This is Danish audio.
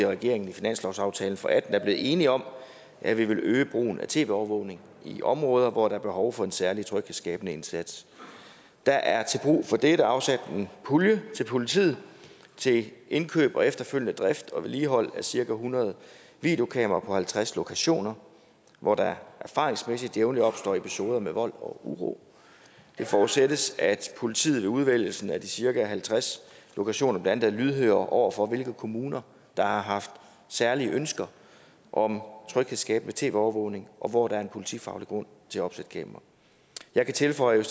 regeringen i finanslovsaftalen for atten er blevet enige om at vi vil øge brugen af tv overvågning i områder hvor der er behov for en særlig tryghedsskabende indsats der er til brug for dette afsat en pulje til politiet til indkøb og efterfølgende drift og vedligehold af cirka hundrede videokameraer på halvtreds lokationer hvor der erfaringsmæssigt jævnligt opstår episoder med vold og uro det forudsættes at politiet ved udvælgelsen af de cirka halvtreds lokationer blandt andet er lydhøre over for hvilke kommuner der har haft særlige ønsker om tryghedsskabende tv overvågning og hvor der er politifaglig grund til at opsætte kameraer jeg kan tilføje at